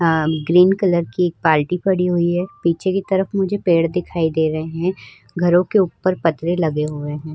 अअअ green colour की एक बाल्टी पड़ी हुई है। पीछे की तरफ मुझे पेड़ दिखाई दे रहे हैं। घरों के उपर लगे हुए हैं।